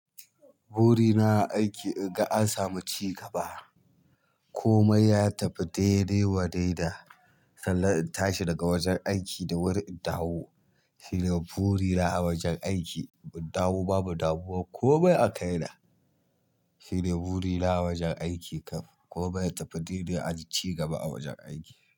Buri na a aiki, in ga an samu ci gaba. Komai ya tafi daidai wa daida. Sanan in tashi daga wajen aikin da wuri in dawo shine buri na a wajen aiki. Mu dawo babu damuwa komai a kai na. Shine buri na a wajen aiki kam. Komai ya tafi daidai, an yi cigaba a wajen aiki.